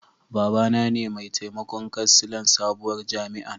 Baba na ne mai taimakon kansilan sabuwar jami'an.